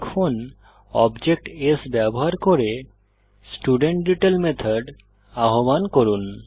এখন object s ব্যবহার করে স্টুডেন্টডিটেইল মেথড আহ্বান করুন